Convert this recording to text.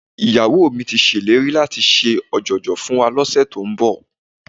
Ìyàwó mi ti ṣèlérí láti ṣe ọ̀jọ̀jọ̀ fún wa lọ́sẹ̀ tó ń bọ̀